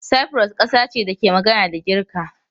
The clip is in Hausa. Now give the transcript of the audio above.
Cyprus kasa ce da ke magana da Girka.